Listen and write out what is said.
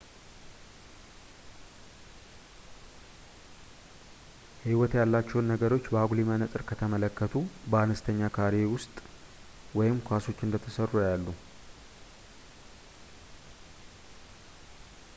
ሕይወት ያላቸውን ነገሮች በአጉሊ መነፅር ከተመለከቱ በአነስተኛ ካሬ ወይም ኳሶች እንደተሠሩ ያያሉ